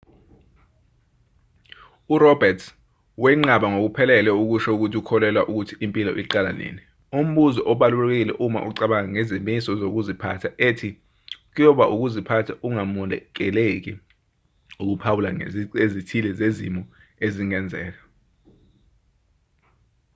uroberts wenqaba ngokuphelele ukusho ukuthi ukholelwa ukuthi impilo iqala nini umbuzo obalulekile uma ucabanga ngezimiso zokuziphatha ethi kuyoba ukuziphatha okungamukeleki ukuphawula ngezici ezithile zezimo ezingenzeka